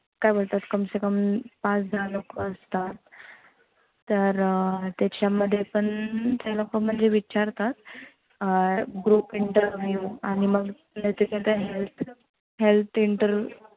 काय बोलतात कम से कम पाच दहा लोकं असतात. तर त्याच्यामध्ये पण ते लोक म्हणजे विचारतात. अं group interview आणि मग health health inter